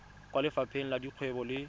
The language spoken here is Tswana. kwa lefapheng la dikgwebo le